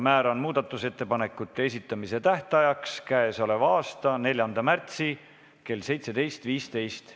Määran muudatusettepanekute esitamise tähtajaks k.a 4. märtsi kell 17.15.